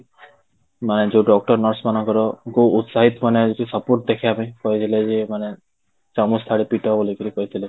ମାନେ ଯୋଉ doctor nurse ମାନଙ୍କର ଙ୍କୁ ଉତ୍ସାହିତ ମାନେ ଯୋଉ support ଦେଖେଇବା ପାଇଁ କହିଦେଲେ ଯେ ମାନେ ଚାମଚ ଥାଳି ପିଟ ବୋଲିକିରି କହିଥିଲେ